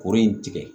Kuru in tigɛ